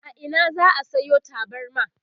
a Ina za'a Sayo tabarma?